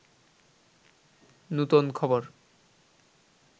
নূতন খবর